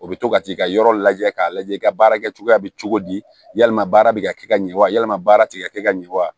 O bɛ to ka t'i ka yɔrɔ lajɛ k'a lajɛ i ka baara kɛ cogoya bɛ cogo di yalima baara bɛ ka kɛ ka ɲɛ wa yalima baara ti ka kɛ ka ɲɛ wa